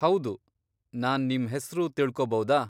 ಹೌದು, ನಾನ್ ನಿಮ್ ಹೆಸ್ರು ತಿಳ್ಕೋಬೌದಾ?